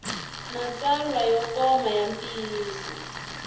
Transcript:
matsalwa yo koma ya ntiyiso